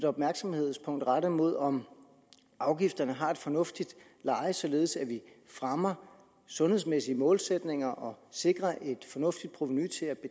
opmærksomheden rettet mod om afgifterne har et fornuftigt leje således at vi fremmer sundhedsmæssige målsætninger og sikrer et fornuftigt provenu